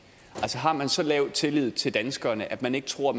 altså har man så lav tillid til danskerne at man ikke tror